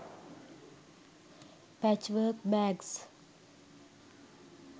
pachwork bags